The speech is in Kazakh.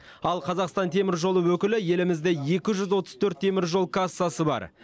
ал қазақстан темір жолы өкілі елімізде екі жүз отыз төрт темір жол кассасы бар